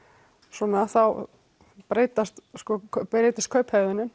svona þá breytist